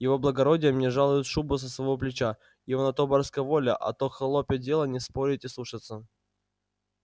его благородие мне жалует шубу со своего плеча его на то барская воля а твоё холопье дело не спорить и слушаться